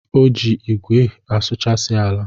O ji igwe asụchasi ala.